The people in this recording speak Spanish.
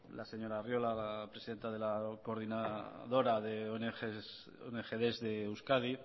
la señora arriola presidenta de la coordinadora de ongd de euskadi